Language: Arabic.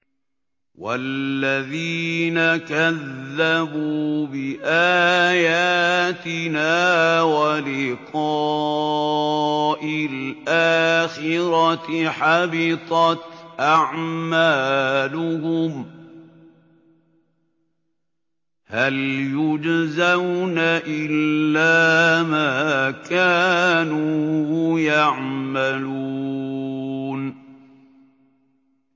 وَالَّذِينَ كَذَّبُوا بِآيَاتِنَا وَلِقَاءِ الْآخِرَةِ حَبِطَتْ أَعْمَالُهُمْ ۚ هَلْ يُجْزَوْنَ إِلَّا مَا كَانُوا يَعْمَلُونَ